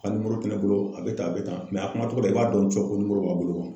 A ka te ne bolo a be tan a be tan. a kuma cogo la i b'a dɔn cɛ ka b'a bolo .